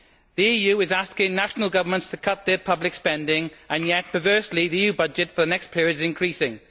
The EU is asking national governments to cut their public spending and yet perversely the EU budget for the next period is increasing.